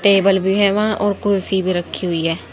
Table भी हैं वहां और कुर्सी रखी हुई है।